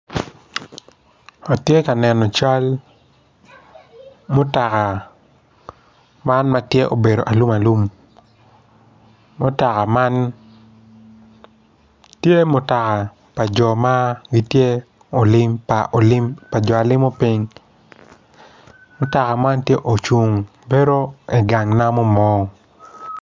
Atye ka neno cal mutoka man matye obedo alum alum mutoka man tye mutoka pa jo alimo ping mutoka man tye ocung bedo i gang namo mo.